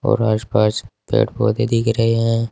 और आस पास पेड़ पौधे दिख रहे हैं।